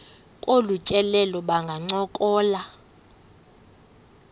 kolu tyelelo bangancokola